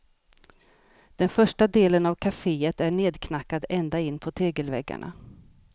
Den första delen av cafeét är nedknackad ända in på tegelväggarna.